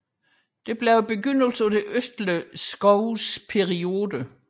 Dette indledte det østlige Zhous periode